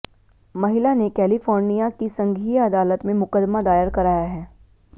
महिला ने कैलीफॉनर्यिा की संघीय अदालत में मुकदमा दायर कराया है